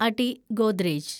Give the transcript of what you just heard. അടി ഗോദ്രേജ്